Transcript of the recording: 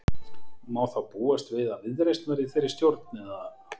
Má þá búast við að Viðreisn verði í þeirri stjórn eða?